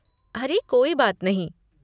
अरे कोई बात नहीं।